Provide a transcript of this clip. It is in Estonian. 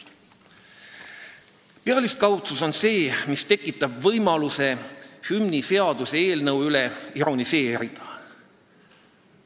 Pealiskaudsus on see, mis tekitab võimaluse hümniseaduse eelnõu üle ironiseerida.